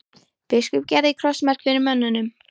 Biskup gerði krossmark fyrir mönnunum.